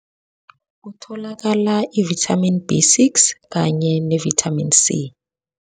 Kutholakala ivithamini B six kanye nevithamini C.